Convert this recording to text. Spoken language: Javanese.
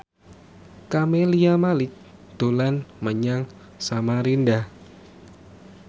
Camelia Malik dolan menyang Samarinda